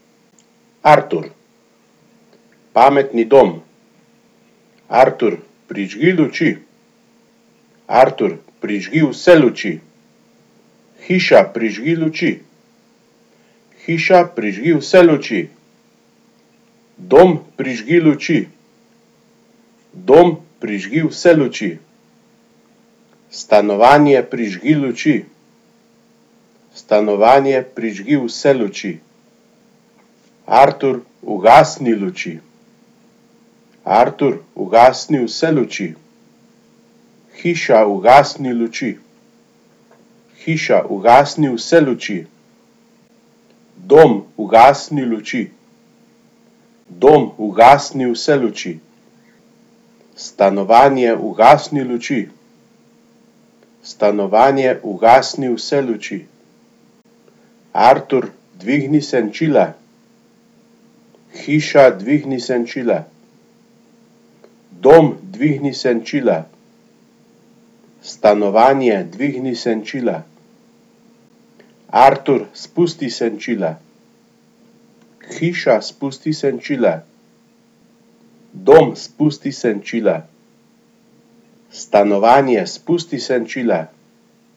Artur. Pametni dom. Artur, prižgi luči. Artur, prižgi vse luči. Hiša, prižgi luči. Hiša, prižgi vse luči. Dom, prižgi luči. Dom, prižgi vse luči. Stanovanje, prižgi luči. Stanovanje, prižgi vse luči. Artur, ugasni luči. Artur, ugasni vse luči. Hiša, ugasni luči. Hiša, ugasni vse luči. Dom, ugasni luči. Dom, ugasni vse luči. Stanovanje, ugasni luči. Stanovanje, ugasni vse luči. Artur, dvigni senčila. Hiša, dvigni senčila. Dom, dvigni senčila. Stanovanje, dvigni senčila. Artur, spusti senčila. Hiša, spusti senčila. Dom, spusti senčila. Stanovanje, spusti senčila.